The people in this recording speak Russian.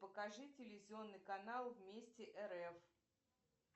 покажи телевизионный канал вместе рф